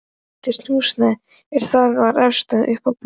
Hitun húsnæðis er þar efst á blaði.